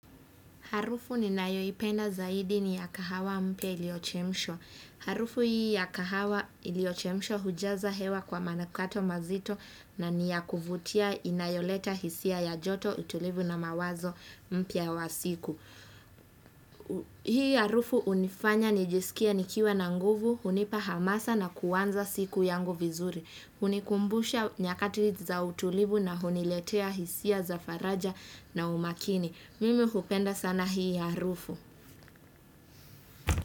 Harufu ninayoipenda zaidi ni ya kahawa mpya iliyochemshwa. Harufu hii ya kahawa iliyochemshwa hujaza hewa kwa manukato mazito na ni yakuvutia inayoleta hisia ya joto utulivu na mawazo mpya wa siku. Hii harufu hunifanya nijisikie nikiwa na nguvu, hunipa hamasa na kuanza siku yangu vizuri. Hunikumbusha nyakati za utulivu na huniletea hisia za faraja na umakini. Mimi hupenda sana hii harufu.